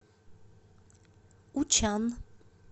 учан